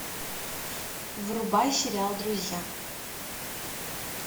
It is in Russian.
врубай сериал друзья